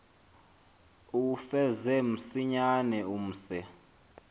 uwufeze msinyane umse